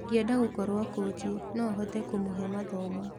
Ingĩenda gũkorwo kochi, nohote kũmũhe mathomo.